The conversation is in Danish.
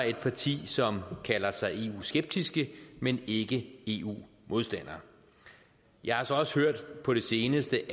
et parti som kalder sig eu skeptiske men ikke eu modstandere jeg har så også på det seneste